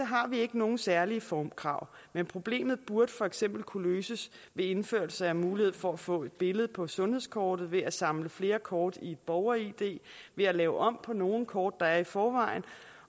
har vi ikke nogen særlige formkrav men problemet burde for eksempel kunne løses ved indførelse af mulighed for at få et billede på sundhedskortet ved at samle flere kort i et borger id ved at lave om på nogle kort der er i forvejen